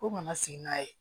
Ko nana sigi n'a ye